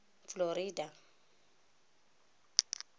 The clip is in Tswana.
florida